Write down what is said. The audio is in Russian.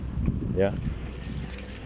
я